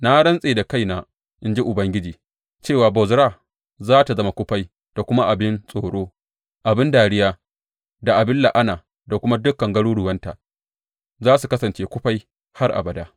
Na rantse da kaina, in ji Ubangiji, cewa Bozra za tă zama kufai da kuma abin tsoro, abin dariya da abin la’ana; kuma dukan garuruwanta za su kasance kufai har abada.